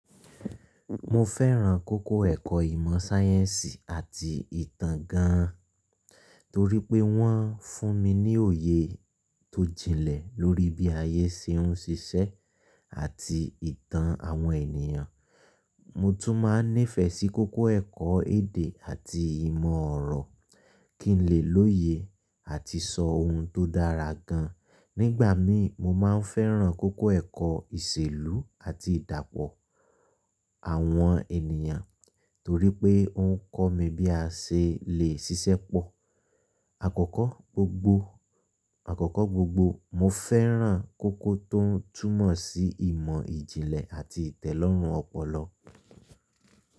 Mo fẹ́ràn kókó ẹ̀kọ́ ìmọ̀ sáyẹ́ǹsì àti ìtàn gan, torí pé wọ́n fún mi ní òye tó jinlẹ̀ lórí bí ayé ṣe ń ṣiṣẹ́ àti ìtàn àwọn ènìyàn. Mo tún máa nífẹ́ sí kókó ẹ̀kọ́ èdè àti ìmọ̀ orọ, kí n lè lóye àti sọ ohun tó dára gan. Nígbà mí mo má a fẹ́ràn kókó ẹ̀kọ́ ìṣèlú àti ìdàpọ̀ àwọn ènìyàn torí pé ó ń kọ́ mi bí a ṣe lè ṣiṣẹ́ pọ̀. Àkọ́kọ́ gbogbo, àkọ́kọ́ gbogbo mo fẹ́ràn kókó tó túnmọ̀ sí ìmọ̀ ìjìnlẹ̀ àti ìtẹ́lọ́rùn ọpọlọ.